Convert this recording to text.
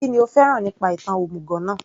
Kínní o fẹ́ràn nípa ìtàn òmùgọ̀ náà